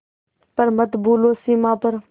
पर मत भूलो सीमा पर